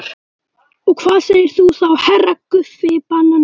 Og hvað segir þú þá HERRA Guffi banani?